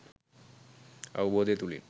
අවබෝධය තුළින්